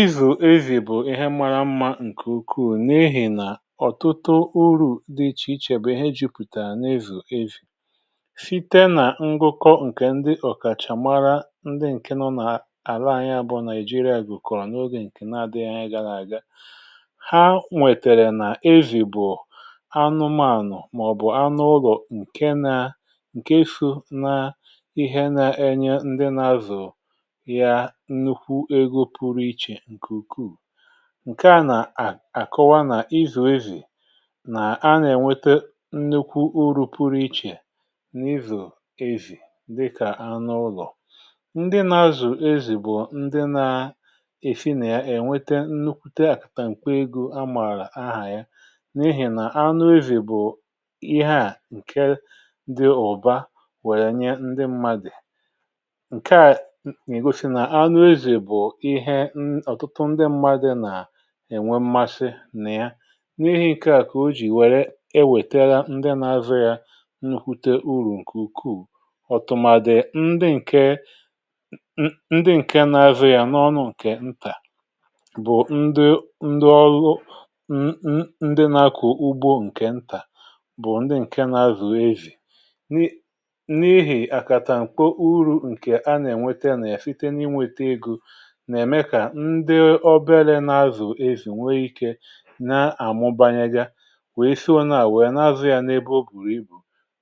izù ezì bụ̀ ihe mara mmȧ ǹkè ukwuù n’ehì nà ọ̀tụtụ urù dị ichè ichè bụ̀ ihe jìpụ̀tà n’ezù ezì site nà ngụkọ ǹkè ọ̀kàchà mara ndị ǹke nọ nà àla anyị abụọ nàị̀jìrìà àgụ̀kọ̀rọ̀ n’ogè ǹkè na-adị yá na-àga ha nwètèrè nà ezì bụ̀ anụmanụ̀ màọ̀bụ̀ anụlọ̀ ǹke na ǹke sụ̀ na ihe na-enye ndị na-azụ̀ ǹke à nà-àkọwa nà-izù ezì nà a nà-ènwete nnukwu uru pụrụ ichè nà-izù ezì dịkà anụ ụlọ̀ ndị nȧ-azù ezì bụ̀ ndị nȧ-èfi nà ya ènwete nnukwute àkàtà m̀kpọ egȯ a mààrà ahà ya n’ihì nà anụ ezì bụ̀ ihe à ǹke ndị ọ̀ba wèrè nye ndị mmadị̀ bụ̀ ihe ɪ ɔ̀tʊtʊ ŋ́dɪ́ ḿmádɪ́ nà-ènwe ḿmásɪ́ nà ya n’ihi̇ ǹkè à kà o jì wère ewètèga ndị na-azụ yȧ n’ùte urù ǹkè ukwuù ọ̀tụ̀màdɪ̀ ndị ǹke ndị ǹke n’azụ yȧ n’ọnụ ǹkè ntà bụ̀ ndị ndị ọlụ n ndị nȧkò ugbo ǹkè ntà bụ̀ ndị ǹke nà-àzụ ezì n’ihi̇ àkàtà ǹkwo uru̇ ǹkè a nà-ènwete yȧ nà-àfite n’inwète egȯ nà-ème kà ndị oberė nȧ-azù ezì nwee ikė nà-àmụbanyagȧ wèe sị ọ na-àwụ yȧ n’ebe o bùrù ibù